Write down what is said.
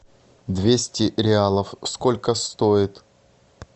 двести реалов сколько стоит